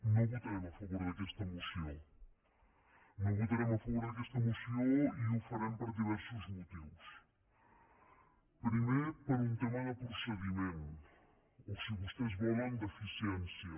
no votarem a favor d’aquesta moció no votarem a favor d’aquesta moció i ho farem per diversos motius primer per un tema de procediment o si vostès volen d’eficiència